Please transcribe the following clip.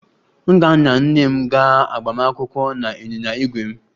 M ga-anya nne m gaa agbamakwụkwọ na ịnyịnya ígwè m